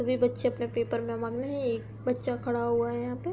सभी बच्चे अपने पेपर में मगन हैं। एक बच्चा खड़ा हुआ है यहाँ पे --